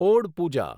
odd Pooja